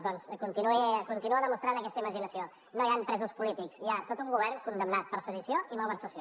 doncs continua demostrant aquesta imaginació no hi han presos polítics hi ha tot un govern condemnat per sedició i malversació